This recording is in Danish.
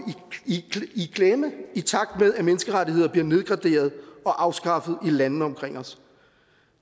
i klemme i takt med at menneskerettigheder bliver nedgraderet og afskaffet i landene omkring os